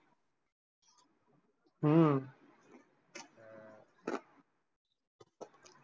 हम्म